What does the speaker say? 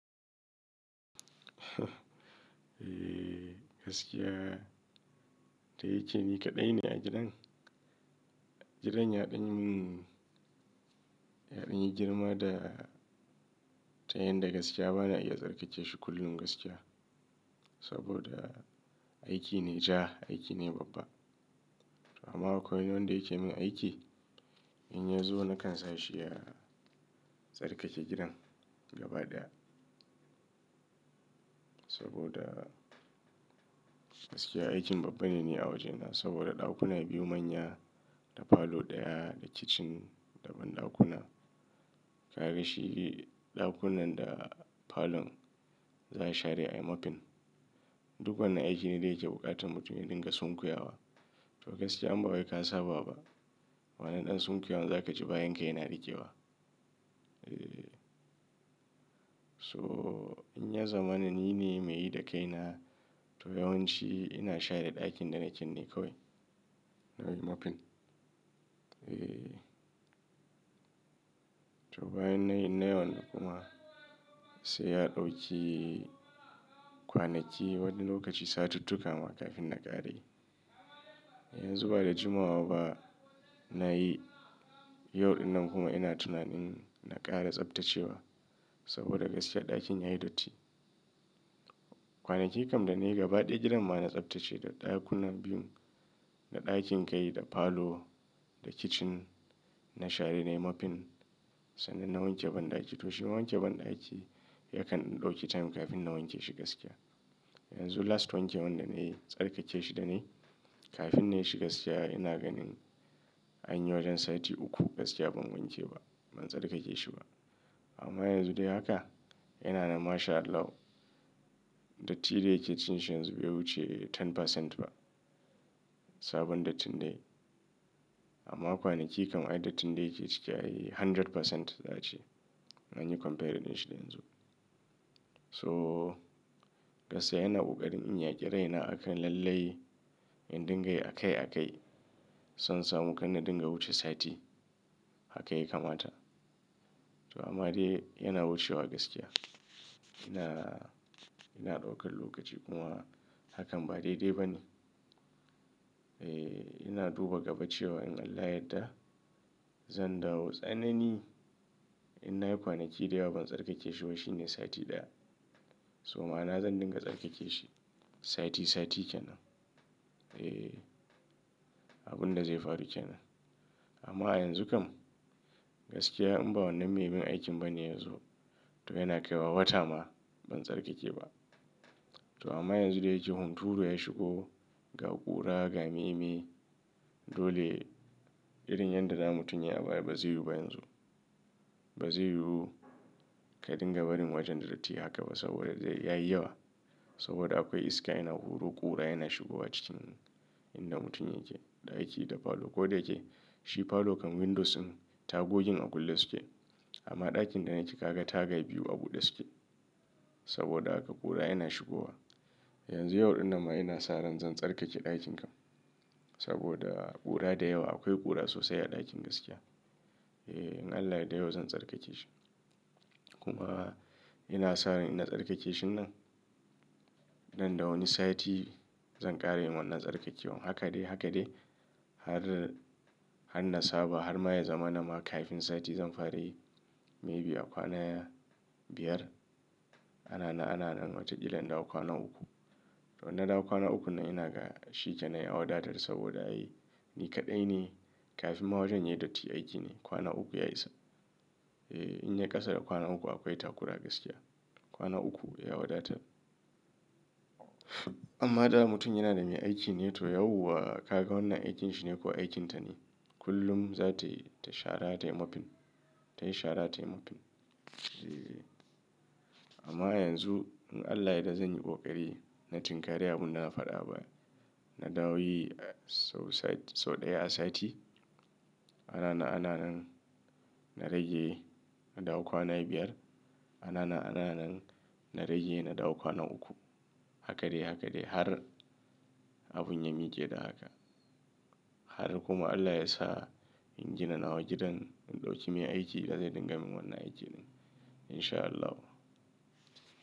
Dayike ni kaɗai ne a gidan? Gidan yaɗanyi mun, yaɗanyi girma da ta yanda gaskiya bana iya tsarkake shi kullun gaskiya. Saboda aiki ne ja, aiki ne babba. Amma akwai wanda yake min aiki, in ya zo nakan sa shi ya tsarkake gidan gaba ɗaya. Saboda gaskiya aikin babba ne ni a wajena saboda ɗakuna biyu manya da falo ɗaya da kicin da banɗakuna. Kaga shi ɗakunnan da falon zan share ai mopin. Duk wannan aiki ne da yake buƙatan mutum ya dinga sonkuya wa. To gaskiya in ba wai ka saba ba, wannan ɗan sunkuyawan za ka ji bayan ka yana riƙewa. So in ya zama nan ni ne mai yi da kai na, to yawanci ina share ɗakin da naken ne kawai na yi mopin. To bayan na yi in nai wannan kuma sai ya ɗauki kwanaki wani lokaci satuttuka ma kafin na ƙara yi. Yanzu ba da jimawa ba na yi, yau dinnan kuma ina tunanin na ƙara tsabtacewa saboda gaskiya ɗakin yayi datti. Kwanaki kam da na yi gaba ɗaya gidan ma na tsabtace da ɗakunan biyun, da ɗakin kai, da falo, da kicin, na share na yi mopin, sannan na wanke banɗaki. To shi ma wanke banɗaki yakan ɗauki time kafin na wanke shi gaskiya. Yanzu last wanke wanda na yi tsarkake shi da na yi, kafin na yi shi gaskiya ina ganin anyi wajen sati uku gaskiya ban wanke ba, ban tsarkake shi ba. Amma yanzu dai haka yana nan mashallahu, datti da yake cikin shi yanzu bai wuce 10% ba sabon dattin da yayi. Amma kwanaki kam ai dattin da yake ciki ai 100% za'a ce in anyi comparing din shi da yanzu. So gaskiya ina kokarin in yaƙi rai na akan lallai in dinga yi a kai a kai. Son samu kan na dinga wuce sati haka ya kamata. To amma dai yana wucewa gaskiya. Ina, ina ɗaukan lokaci kuma hakan ba daidai ba ne. Eh ina duba gaba cewa in Allah yadda zan dawo tsanani, in na yi kwanaki da yawa ban tsarkake shi ba shine sati ɗaya. So ma'ana zan dinga tsarkake shi sati sati ke nan. Eh abun da zai faru ke nan. Amma a yanzu kam gaskiya in ba wannan mai min aikin ba ne ya zo, to yana kaiwa wata ma ban tsarkake ba. To amma yanzu da yake hunturu ya shigo, ga ƙura, ga meye meye, dole irin yanda na mutun yayi a baya ba zai yiwu ba yanzu. Ba zai yiwu ka dinga barin wajen da datti haka ba saboda dai yayi yawa. Saboda akwai iska yana huro ƙura yana shigowa cikin inda mutum yake, ɗaki da falo. Ko da yake shi falo kan windows din tagogin a kulle suke, amma ɗakin da nake kaga taga biyu a buɗe suke saboda haka ƙura yana shigowa. Yanzu yau dinnan ma ina sa ran zan tsarkake ɗakin kam saboda ƙura da yawa akwai ƙura sosai a ɗakin gaskiya. Eh in Allah ya yadda yau zan tsarkake shi. Kuma ina sa ran in ina tsarkake shinnan, nan da wani sati zan ƙara yin wannan tsarkakewan. Haka dai haka dai har, har na saba har ma ya zama nama kafin sati zan fara yi may be a kwana biyar. Ana nan ana nan wata kila in dawo kwana uku. To in na dawo kwana ukun nan ina ga shi kenan ya wadatar saboda ai ni kaɗai ne kafin ma wajen yayi datti aiki ne kwana uku ya isa. Eh in yai ƙasa da kwana uku akwai takura gaskiya. Kwana uku ya wadatar. Amma da mutum yana da mai aiki ne to yauwa kaga wannan aikin shi ne ko aikin ta ne kullum za ta yi tai shara tai mopin, ta yi share ta yi mopin. Eh amma yanzu in Allah ya dadda zan yi ƙoƙari na tinkari abun da na faɗa a baya. Na dawo yi sau sati, sau ɗaya a sati. Ana na ana nan na rage na da kwana biyar. Ana na ana nan na rage na da kwana uku. Haka dai haka dai har abun ya mike da haka. Har kuma Allah ya sa in gina nawa gidan in ɗauki mai aiki da zai dinga min wannan aiki din in sha Allahu.